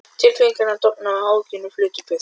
Tilfinningarnar dofnuðu og áhyggjurnar flutu burt.